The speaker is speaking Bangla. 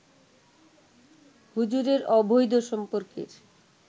হুজুরের অবৈধ সম্পর্কের